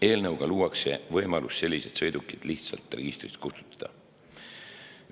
Eelnõuga luuakse võimalus sellised sõidukid lihtsalt registrist kustutada.